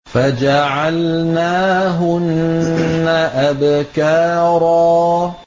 فَجَعَلْنَاهُنَّ أَبْكَارًا